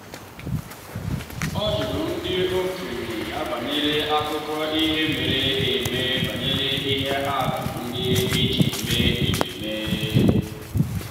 ọ jụrụ ndị okenye ya banyere akụkọ ihe mere eme banyer ihe atụ ndị e ji eme ememme.